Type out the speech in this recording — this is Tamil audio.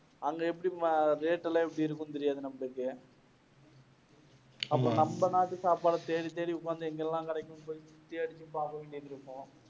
அங்க எப்படி rate எல்லாம் எப்படி இருக்கும்னு தெரியாது நமபுளுக்கு. அப்புறம் நம்ம நாட்டு சாப்பாடை தேடி தேடி எங்கெல்லாம் கிடைக்கும்னு